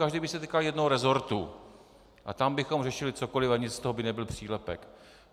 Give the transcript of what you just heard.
Každý by se týkal jednoho resortu a tam bychom řešili cokoliv a nic z toho by nebyl přílepek.